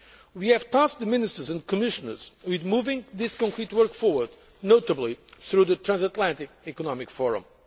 We have tasked the Ministers and Commissioners with moving this concrete work forward, notably through the Transatlantic Economic